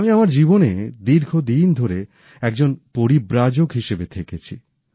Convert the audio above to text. আমি আমার জীবনে দীর্ঘদিন ধরে একজন পরিব্রাজক হিসাবে থেকেছি